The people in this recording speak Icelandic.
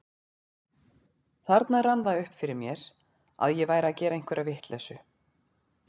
Þarna rann það upp fyrir mér að ég væri að gera einhverja vitleysu.